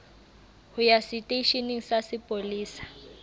ho ya seteisheneng sa sepolesa